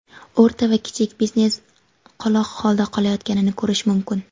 o‘rta va kichik biznes qoloq holda qolayotganini ko‘rish mumkin.